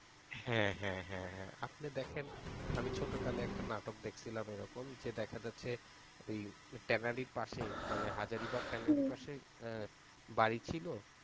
হ্যাঁ হ্যাঁ হ্যাঁ হ্যাঁ আপনি দেখেন আমি ছোটকালে একটা নাটক দেখছিলাম এরকম যে দেখা যাচ্ছে tannery এর পাশে মানে হাজারীবাগ tannery র পাশে বাড়ি ছিল,